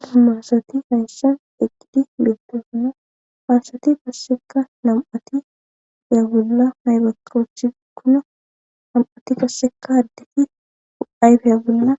duzu maasati hayshan eqqidi meetto kuno paasati passeka nam7ati eya bolla maybakochi kuno nam7ati passeka addeti u7ayfeya bolla